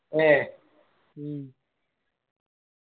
ഏർ